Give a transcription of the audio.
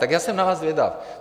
Tak já jsem na vás zvědav.